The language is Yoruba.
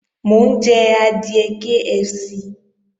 Mò ń jẹ adìẹ KFC